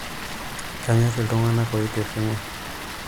kanyor iltunganak otiringaa